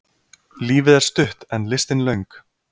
Lífið er stutt en listin löng.